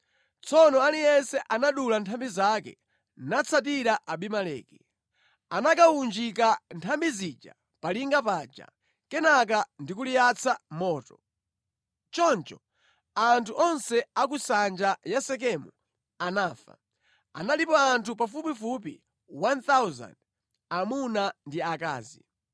Tsono aliyense anadula nthambi zake, natsatira Abimeleki. Anakawunjika nthambi zija pa linga paja, kenaka ndi kuliyatsa moto. Choncho anthu onse a ku nsanja ya Sekemu anafa. Analipo anthu pafupifupi 1,000, amuna ndi akazi.